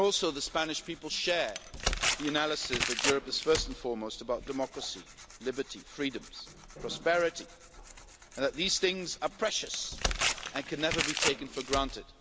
The Spanish people also share the analysis that Europe is first and foremost about democracy, liberty, freedoms and prosperity, and that these things are precious and can never be taken for granted.